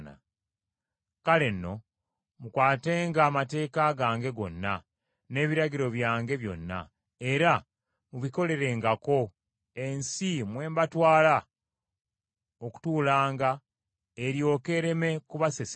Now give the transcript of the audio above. “ ‘Kale nno, mukwatenga amateeka gange gonna n’ebiragiro byange byonna, era mubikolerengako, ensi mwe mbatwala okutuulanga eryoke ereme kubasesema.